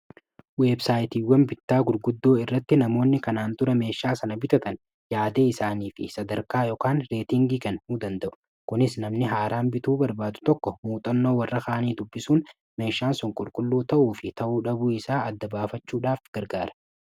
weebsaayitiiwwan bittaa gurguddoo irratti namoonni kanaan tura meeshaa sana bitatan yaadee isaanii fi sadarkaa yokaan reetingii kan nu danda'u kunis namni haaraan bituu barbaadu tokko muuxannoo warra kaanii tubbisuun meeshaan son qulqulluu ta'uu fi ta'uu dhabuu isaa adda-baafachuudhaaf gargaara